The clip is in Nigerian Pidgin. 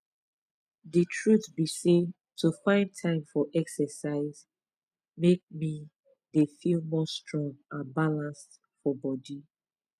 the truth be sey to find time for exercise make me dey feel more strong and balanced for body